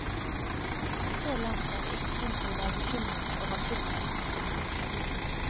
Så langt er det ikke grunn til å være bekymret over skipsfartspolitikken.